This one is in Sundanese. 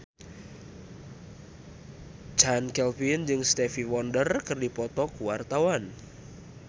Chand Kelvin jeung Stevie Wonder keur dipoto ku wartawan